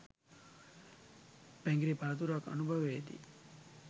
පැඟිරි පළතුරක් අනුභවයේ දී